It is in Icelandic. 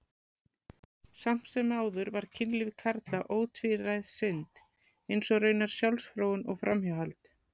Samt sem áður var kynlíf karla ótvíræð synd, eins og raunar sjálfsfróun og framhjáhald.